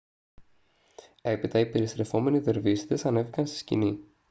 έπειτα οι περιστρεφόμενοι δερβίσηδες ανέβηκαν στη σκηνή